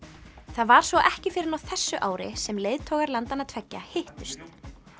það var svo ekki fyrr en fyrr á þessu ári sem leiðtogar landanna tveggja hittust